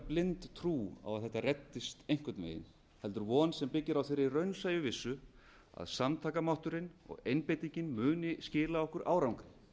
blind trú á að þetta reddist einhvern veginn heldur von sem byggir á þeirri raunsæju vissu að samtakamátturinn og einbeitingin muni skila okkur árangri